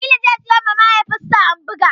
Jamilu zai siyowa mahaifinsa Hamboga.